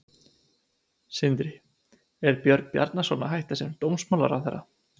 Sindri: Er Björn Bjarnason að hætta sem dómsmálaráðherra?